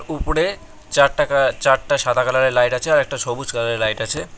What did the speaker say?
উপরে চারটাকা চারটা সাদা কালারের লাইট আছে আর একটা সবুজ কালারের লাইট আছে।